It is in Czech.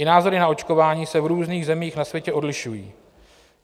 I názory na očkování se v různých zemích na světě odlišují.